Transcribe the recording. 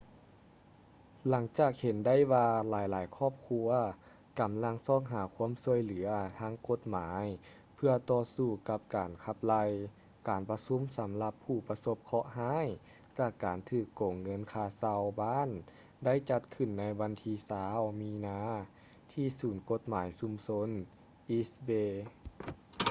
ຫຼັງຈາກເຫັນໄດ້ວ່າຫຼາຍໆຄອບຄົວກຳລັງຊອກຫາຄວາມຊ່ວຍເຫຼືອທາງກົດໝາຍເພື່ອຕໍ່ສູ້ກັບການຂັບໄລ່ ການປະຊຸມສຳລັບຜູ້ປະສົບເຄາະຮ້າຍຈາກການຖືກໂກງເງິນຄ່າເຊົ່າບ້ານໄດ້ຈັດຂຶ້ນໃນວັນທີ 20 ມີນາທີ່ສູນກົດໝາຍຊຸມຊົນ east bay